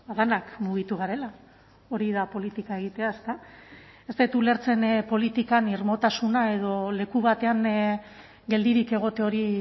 denak mugitu garela hori da politika egitea ezta ez dut ulertzen politikan irmotasuna edo leku batean geldirik egote hori